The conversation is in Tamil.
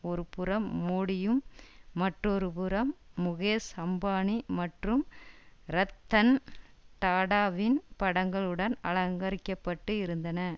ஒருபுறம் மோடியும் மற்றொருபுறம் முகேஷ் அம்பானி மற்றும் ரத்தன் டாடாவின் படங்களுடன் அலங்கரிக்கப்பட்டு இருந்தன